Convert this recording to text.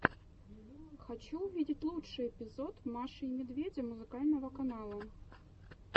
хочу увидеть лучший эпизод маши и медведя музыкального канала